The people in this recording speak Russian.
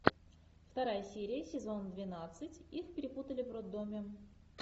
вторая серия сезон двенадцать их перепутали в роддоме